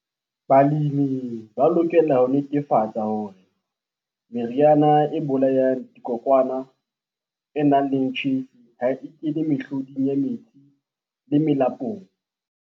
Balemi ba lokela ho netefatsa hore meriana e bolayang dikokwana e nang le tjhefu ha e kene mehloding ya metsi le melapong.